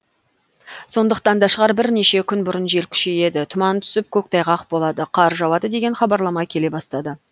сондықтан да шығар бірнеше күн бұрын жел күшейеді тұман түсіп көктайғақ болады қар жауады деген хабарлама келе бастады